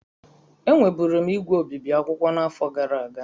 Enweburu m ígwè obibi akwụkwọ n'afọ gara aga.